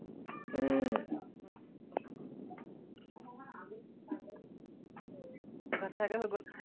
ভাত খাই কৰি হৈ গল?